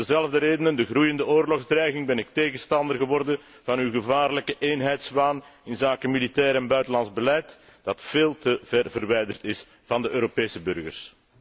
Om dezelfde reden, de groeiende oorlogsdreiging, ben ik tegenstander geworden van uw gevaarlijke eenheidswaan inzake militair en buitenlands beleid, dat veel te verwijderd is van de Europese burgers.